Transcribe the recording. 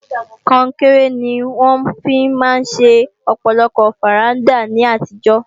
Kọnkéré ni wọ́n fi máa ń ṣe ọ̀pọ̀lọpọ̀ fàrándà ní àtijọ́